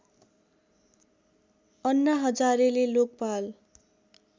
अन्ना हजारेले लोकपाल